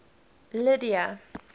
lydia